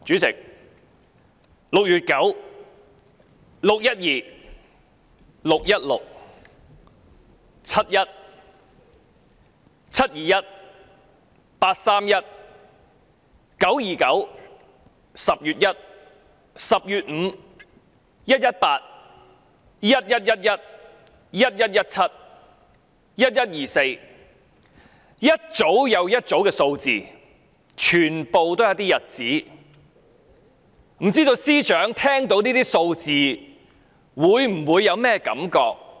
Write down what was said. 主席，"六月九"、"六一二"、"六一六"、"七一"、"七二一"、"八三一"、"九二九"、"十月一"、"十月五"、"一一八"、"一一一一"、"一一一七"、"一一二四"，一組又一組的數字，全部是日子，不知道司長聽到這些數字會有甚麼感覺？